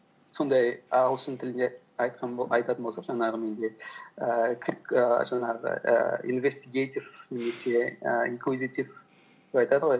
сондай ағылшын тілінде айтатын болсақ жаңағы менде ііі ііі жаңағы ііі инвестигейтив немесе і инклузитив деп айтады ғой